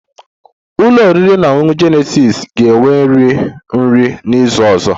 Ụlọ oriri na ọṅụṅụ Jenesis ga-enwe nri nri n'izu ọzọ